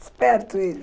Esperto ele.